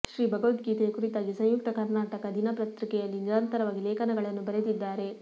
ಶ್ರೀ ಭಗವದ್ಗೀತೆಯ ಕುರಿತಾಗಿ ಸಂಯುಕ್ತ ಕರ್ನಾಟಕ ದಿನಪತ್ರಿಕೆಯಲ್ಲಿ ನಿರಂತರವಾಗಿ ಲೇಖನಗಳನ್ನೂ ಬರೆದಿದ್ದಾರೆ